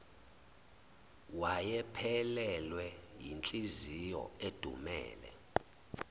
wayephelelwe yinhliziyo edumele